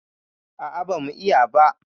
A'a bamu yi ba.